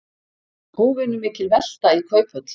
Óvenjumikil velta í Kauphöll